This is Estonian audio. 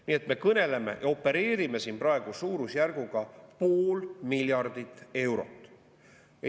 Nii et me opereerime siin praegu suurusjärguga pool miljardit eurot.